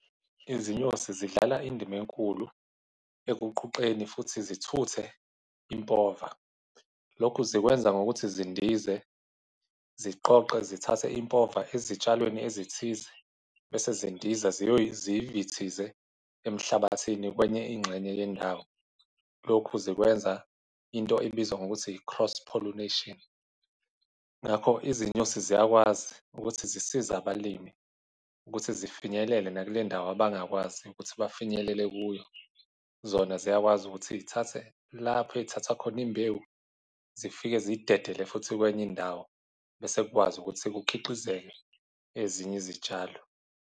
Izinyosi zidlala indima enkulu ekuquqeni futhi zithuthe impova. Lokhu zikwenza ngokuthi zindize, ziqoqe, zithathe impova ezitshalweni ezithize bese zindiza ziyivithize emhlabathini, kwenye ingxenye yendawo. Lokhu zikwenza into ebizwa ngokuthi i-cross-pollination. Ngakho izinyosi ziyakwazi ukuthi zisize abalimi ukuthi zifinyelele nakule ndawo abangakwazi ukuthi bafinyelele kuyo. Zona ziyakwazi ukuthi y'thathe lapho ey'thatha khona imbewu zifike ziyidedele futhi kwenye indawo, bese kukwazi ukuthi kukhiqizeke ezinye izitshalo.